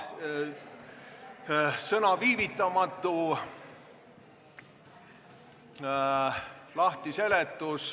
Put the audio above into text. Sõna "viivitamatu" lahtiseletus.